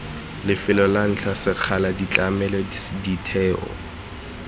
lefelo ntlha sekgala ditlamelo ditheo